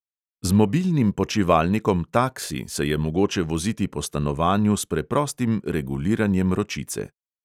Z mobilnim počivalnikom taksi se je mogoče voziti po stanovanju s preprostim reguliranjem ročice.